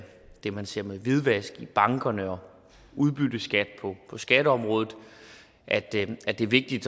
det man ser med hvidvask i bankerne og udbytteskat på skatteområdet at det det er vigtigt